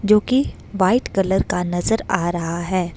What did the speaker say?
जो की white colour का नजर आ रहा है।